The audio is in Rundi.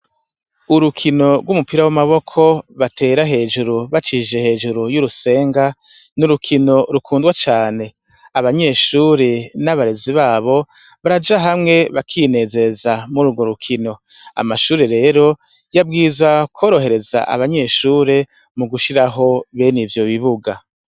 Urukino rw'umupira w'amaboko batera hejuru bacishije hejuru y'urusenga n'urukino rukundwa cane abanyeshuri n'abarezi babo baraja hamwe bakinezeza muri urwo rukino amashuri rero yabwiza kworohereza abanyeshure mu gushiraho bene ivyo bibuga.